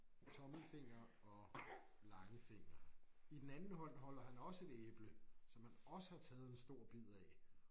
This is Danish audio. Tommelfinger og langfinger. I den anden hånd holder han også et æble som han også har taget en stor bid af